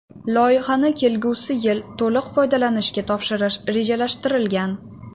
Loyihani kelgusi yili to‘liq foydalanishga topshirish rejalashtirilgan.